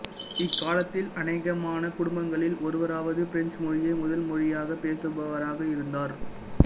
இக்காலத்தில் அனேகமான குடும்பங்களில் ஒருவராவது பிரெஞ்சு மொழியை முதல் மொழியாகப் பேசுபவராக இருந்தார்